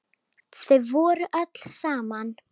Þau voru öll saman.